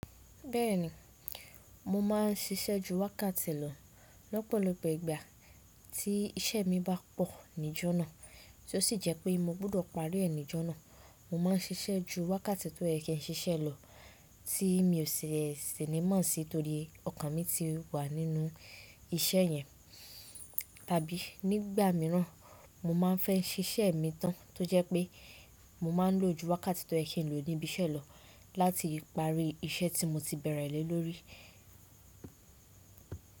Bẹ́ẹ̀ni, mo máa ń ṣiṣẹ́ ju wákàtì lọ lọ́pọ̀lọpọ̀ ìgbà tí iṣẹ́ mi bá pọ̀ níjọ́nà, tó sì jẹ́ pé mọ gbọdọ̀ parí ẹ nìjọ́nà. Mo máa ń ṣiṣẹ́ ju wákàtì tó yẹ kin ṣiṣẹ́ lọ tí mi ò sìní mọ́ sí torí ọkàn mi ti wà nínú iṣẹ́ yẹn. Tàbí nígbà mìíràn, mo máa ń fẹ́ ṣiṣẹ́ mi tán tó jẹ́ pé mo máa ń lò ju wákàtì tó yẹ kin lò níbi iṣẹ́ lọ láti parí iṣẹ́ tí mọ ti bẹ̀rẹ̀ lé lórí.